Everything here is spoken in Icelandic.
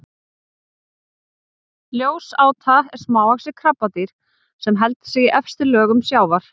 ljósáta er smávaxið krabbadýr sem heldur sig í efstu lögum sjávar